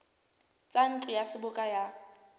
tsa ntlo ya seboka ya